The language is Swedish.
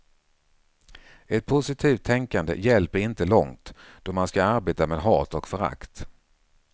Ett positivt tänkande hjälper inte långt då man ska arbeta med hat och förakt.